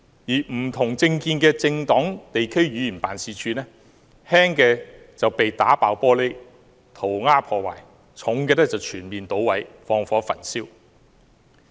不同政見的政黨地區議員辦事處，輕則被打破玻璃、塗鴉破壞，嚴重的則被全面搗毀、放火焚燒。